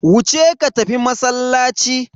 Wuce ka tafi masallaci.